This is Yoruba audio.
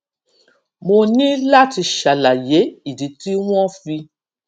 mo ní láti ṣàlàyé ìdí tí wón fi